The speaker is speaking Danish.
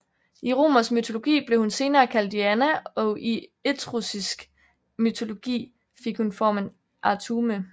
I romersk mytologi blev hun senere kaldt Diana og i etruskisk mytologi fik hun formen Artume